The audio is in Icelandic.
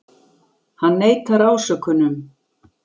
Hann neitar ásökunum